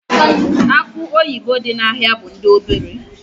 Akụ oyibo dị n'ahịa bụ ndị obere.